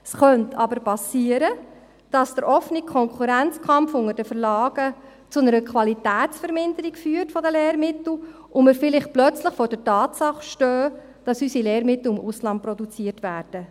Es könnte aber geschehen, dass der offene Konkurrenzkampf unter den Verlagen zu einer Qualitätsverminderung der Lehrmittel führt und dass wir vielleicht plötzlich vor der Tatsache stehen, dass unsere Lehrmittel im Ausland produziert werden.